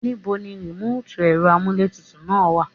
Nibo ní remoti ẹ̀rọ amuletutu náà wá?